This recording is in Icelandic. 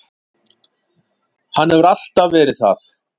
Hann hefur alltaf verið það.